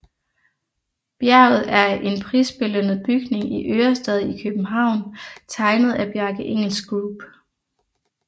Bjerget er en prisbelønnet bygning i Ørestad i København tegnet af Bjarke Ingels Group